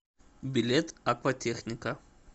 билет акватехника